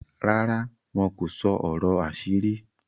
ràrá wọn kò sọ ọrọ àṣírí?